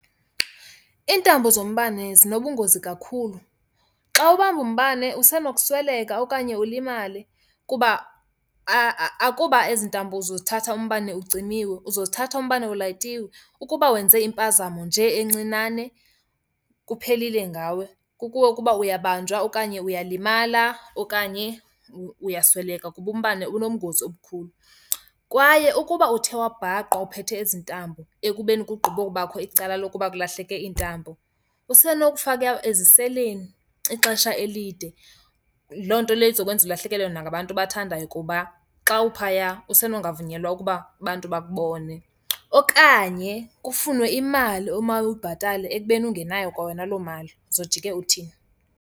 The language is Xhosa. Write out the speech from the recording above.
Iintambo zombane zinobungozi kakhulu. Xa ubamba umbane usenokusweleka okanye ulimale, kuba akuba ezi ntambo uzozithatha umbane ucimile, uzozithatha umbane ulayitiwe. Ukuba wenze impazamo nje encinane kuphelile ngawe. Kukuwe ukuba uyabanjwa okanye uyalimala okanye uyasweleka kuba umbane unobungozi obukhulu. Kwaye ukuba uthe wabhaqwa uphethe ezi ntambo ekubeni kugqibobakho icala lokuba kulahleke iintambo, usenokufakwa eziseleni ixesha elide. Loo nto leyo izokwenza ulahlekelwe nangabantu obathandayo kuba xa uphaya usenongavunyelwa ukuba abantu bakubone. Okanye kufunwe imali omawuyibhatale ekubeni ungenayo kwa wena loo mali. Uzojike uthini?